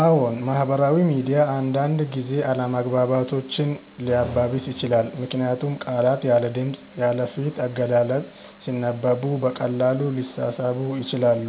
አዎን፣ ማህበራዊ ሚዲያ አንዳንድ ጊዜ አለመግባባቶችን ሊያባብስ ይችላል። ምክንያቱም ቃላት ያለ ድምፅ፣ ያለ ፊት አገላለጽ ሲነበቡ በቀላሉ ሊሳሳቡ ይችላሉ።